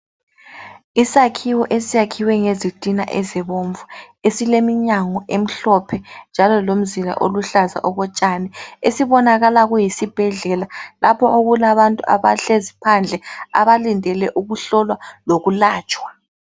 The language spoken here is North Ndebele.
Isakhiwo esakhiwe ngezitina ezibomvu esileminyango emhlophe njalo lomzila oluhlaza okotshani esibonakala kuyisibhedlela lapho okulabantu abahlezi phandle abalindele ukuhlolwa lokulatshwa.